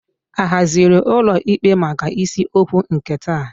A haziri ụlọ ikpe maka isiokwu nke taa?